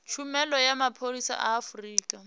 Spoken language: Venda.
tshumelo ya mapholisa a afurika